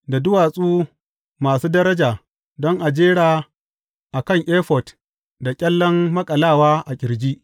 Da duwatsu masu daraja don a jera a kan efod da ƙyallen maƙalawa a ƙirji.